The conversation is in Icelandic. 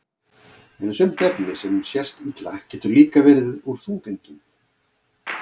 en sumt efni sem sést illa getur líka verið úr þungeindum